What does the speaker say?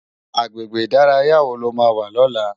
Agbégbé idàráyá wó ló má wà lòlá?